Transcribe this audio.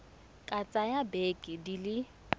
ka tsaya dibeke di le